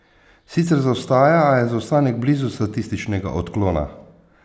Sicer zaostaja, a je zaostanek blizu statističnega odklona.